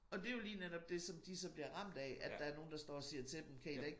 Og det jo lige netop dét som de så bliver ramt af at der er nogen der står og siger til dem kan i da ikke